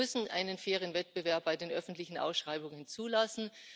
Wir müssen einen fairen Wettbewerb bei den öffentlichen Ausschreibungen zulassen.